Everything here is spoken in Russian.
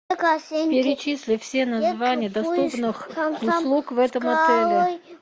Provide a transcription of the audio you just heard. перечисли все названия доступных услуг в этом отеле